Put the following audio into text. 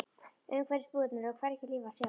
Umhverfis búðirnar er hvergi líf að sjá.